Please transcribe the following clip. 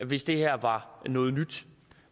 hvis det her var noget nyt